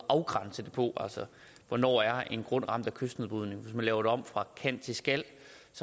afgrænse det på altså hvornår er en grund ramt af kystnedbrydning man laver det om fra kan til skal